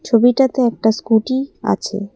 ছবিটাতে একটা স্কুটি আছে।